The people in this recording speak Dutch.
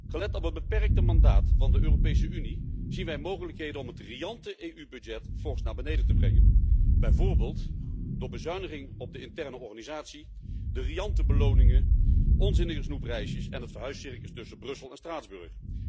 Gelet op het beperkte mandaat van de Europese Unie, zien wij mogelijkheden om het riante EU budget fors naar beneden te brengen, bijvoorbeeld door bezuiniging op de interne organisatie, de riante beloningen, onzinnige snoepreisjes en het verhuiscircus tussen Brussel en Straatsburg.